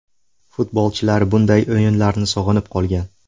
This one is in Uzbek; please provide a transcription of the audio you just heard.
Futbolchilar bunday o‘yinlarni sog‘inib qolgan.